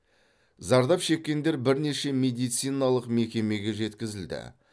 зардап шеккендер бірнеше медициналық мекемеге жеткізілді